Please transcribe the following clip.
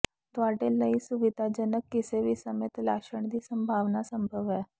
ਤੁਹਾਡੇ ਲਈ ਸੁਵਿਧਾਜਨਕ ਕਿਸੇ ਵੀ ਸਮੇਂ ਤਲਾਸ਼ਣ ਦੀ ਸੰਭਾਵਨਾ ਸੰਭਵ ਹੈ